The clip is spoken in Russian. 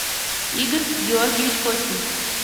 игорь георгиевич костин